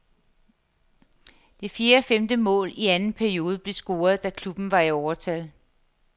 Det fjerde og femte mål i anden periode blev scoret, da klubben var i overtal.